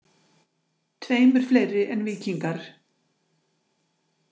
Tveimur fleiri en Víkingar.